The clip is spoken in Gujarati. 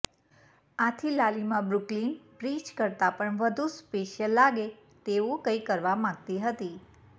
આથી લાલિમા બ્રુકલિન બ્રિજ કરતા પણ વધુ સ્પેશિયલ લાગે તેવું કંઈ કરવા માંગતી હતી